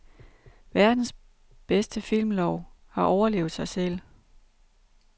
Verdens bedste filmlov har overlevet sig selv.